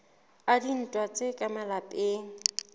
a dintwa tsa ka malapeng